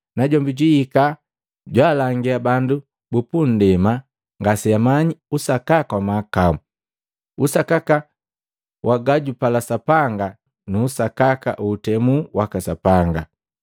Najombi ejwihika jwalangia bandu bupu ndema ngaseamanyi usakaka wa mahakau, usakaka wa gajupala Sapanga na usakaka wa na utemu waka Sapanga.